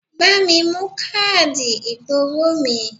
Bá mi mú káàdì ìgbowó mi!